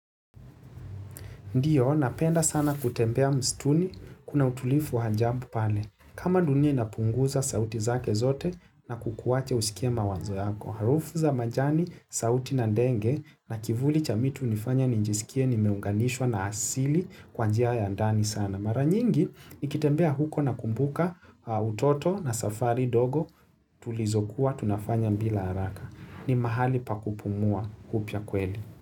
Ndiyo, napenda sana kutembea msituni, kuna utulivu wa ajabu pale. Kama dunia inapunguza sauti zake zote na kukuwacha husikie mawazo yako. Harufu za majani, sauti na denge na kivuli cha miti ti hunifanya nijisikie nimeunganishwa na asili kwa njia ya ndani sana. Mara nyingi, nikitembea huko nakumbuka utoto na safari dogo tulizokuwa, tunafanya bila haraka. Ni mahali pa kupumua upya kweli.